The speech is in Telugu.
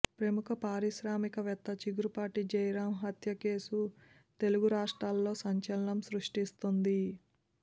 ప్రముఖ పారిశ్రామిక వేత్త చిగురుపాటి జయరాం హత్య కేసు తెలుగు రాష్ట్రాల్లో సంచలనం సృష్టిస్తోంది